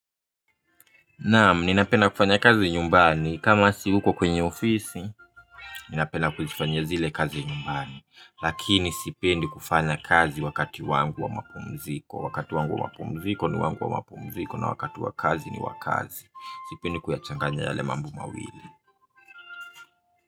Naam, ninapenda kufanya kazi nyumbani. Kama siuko kwenye ofisi, ninapenda kufanya zile kazi nyumbani. Lakini sipendi kufanya kazi wakati wangu wa mapumziko. Wakati wangu wa mapumziko ni wangu wa mapumziko na wakati wa kazi ni wa kazi. Sipendi kuyachanganya yale mambo mawili.